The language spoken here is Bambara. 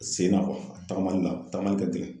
Sen na a tagamali la tagamali tɛ tigɛ